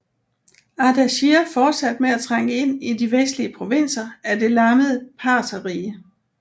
Ardashir fortsatte med at trænge ind i de vestlige provinser af det lammede Partherrige